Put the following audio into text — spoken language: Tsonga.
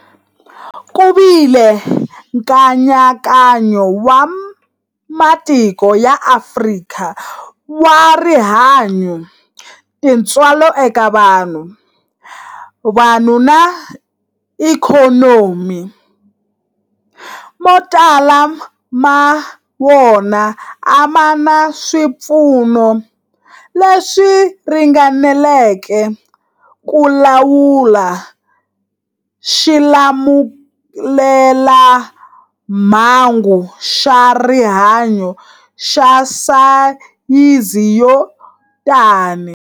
Ku vile nkayakayo wa matiko ya Afrika wa rihanyu, tintswalo eka vanhu, vanhu na ikhonomi, mo tala ma wona a ma na swipfuno leswi ringaneleke ku lawula xilamulelamhangu xa rihanyu xa sayizi yo tani.